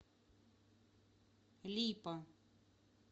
липа